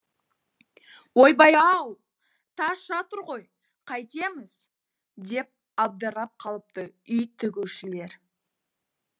ойбай ау тас жатыр ғой қайтеміз деп абдырап қалыпты үй тігушілер